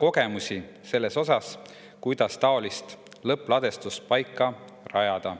kogemusi selles osas, kuidas taolist lõppladustuspaika rajada.